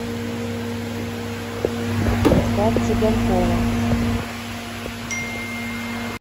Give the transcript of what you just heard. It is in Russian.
витька цыганкова